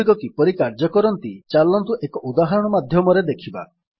ସେଗୁଡିକ କିପରି କାର୍ଯ୍ୟ କରନ୍ତି ଚାଲନ୍ତୁ ଏକ ଉଦାହରଣ ମାଧ୍ୟମରେ ଦେଖିବା